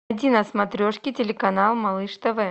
найди на смотрешке телеканал малыш тв